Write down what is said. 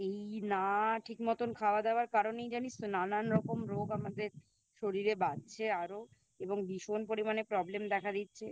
এই না ঠিক মতোন খাওয়া দাওয়ার কারণেই জানিস তো নানানরকম রোগ আমাদের শরীরে বাঁধছে আরো এবং ভীষণ পরিমানে Problem দেখা দিচ্ছে